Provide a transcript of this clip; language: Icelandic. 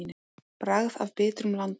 Bragð af bitrum landa.